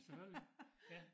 Selvfølgelig ja